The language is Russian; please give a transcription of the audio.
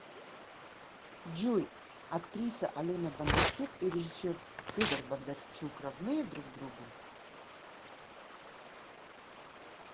джой актриса алена бондарчук и режиссер федор бондарчук родные друг другу